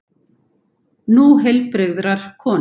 Nú heilbrigðrar konu.